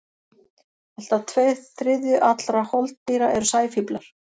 Allt að tveir þriðju allra holdýra eru sæfíflar.